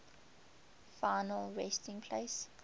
final resting place